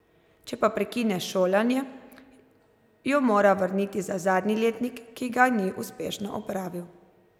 Če pa prekine šolanje, jo mora vrniti za zadnji letnik, ki ga ni uspešno opravil.